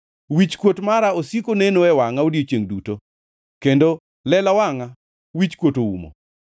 Wichkuot mara osiko neno e wangʼa odiechiengʼ duto, kendo lela wangʼa wichkuot oumo.